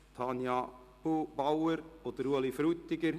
Tanja Bauer und Ueli Frutiger.